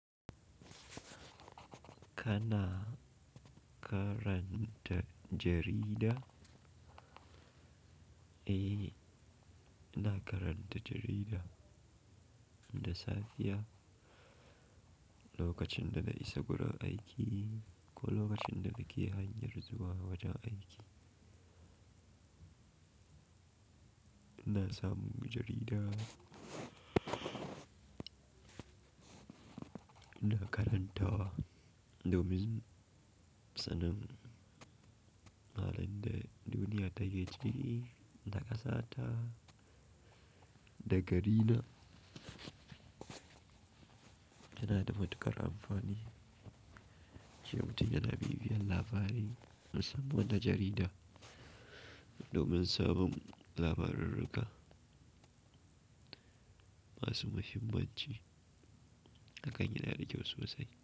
Kana karanta jarida, eh na karanta jarida da safiya lokacin da na isa gurin aiki ko lokacin da nake hanyar zuwa wajen aiki. Na samu jarida, na karantawa domin sanin halin da duniya take ciki, da kasata da garina. Yana da matuƙar amfani shi mutum yana bibiyan labarai musamman da jarida domin sabon labaran rika. Masu muhimmanci hakan yana da kyau su sasai.